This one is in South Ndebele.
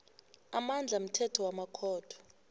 amandla mthetho wamakhotho